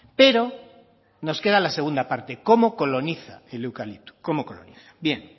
pero nos queda la segunda parte cómo coloniza el eucalipto cómo coloniza bien